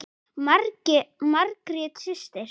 Margrét systir.